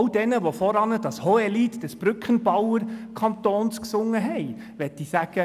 All jenen, die zuvor das Hohelied des Brückenbauer-Kantons gesungen haben, möchte ich sagen: